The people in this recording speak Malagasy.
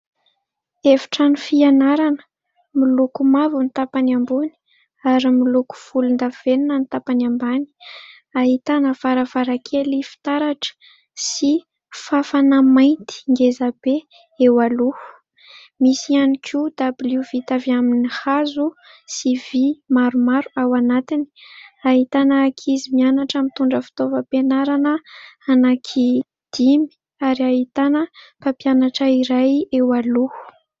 Efitrano fianarana miloko mavo ny tapany ambony ary miloko folondavenina ny tapany ambany, ahitana varavarakely fitaratra sy fafana mainty ngeza be eo aloha, misy ihany koa dabilio vita avy amin'ny hazo sy vy maromaro ao anatiny, ahitana ankizy mianatra mitondra fitaovam-pianarana anaky dimy ary ahitana mpampianatra iray eo aloha.